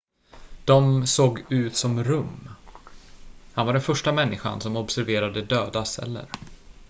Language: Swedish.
de såg ut som rum han var den första människan som observerade döda celler